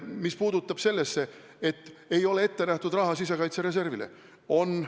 Mis puudutab seda, et ei ole ette nähtud raha sisekaitsereservile, siis on küll.